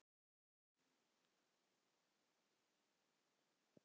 Ég hef tapað talsverðu að undanförnu- meira en